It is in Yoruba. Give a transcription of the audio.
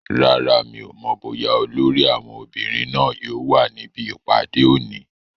Rárá, mi ò mọ̀ bóyá olórí àwọn obìnrin náà yóò wà níbi ìpàdé òní